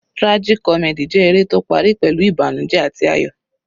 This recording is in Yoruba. Tragic comedy jẹ́ eré tó parí pẹ̀lú ìbànújẹ àti ayọ̀.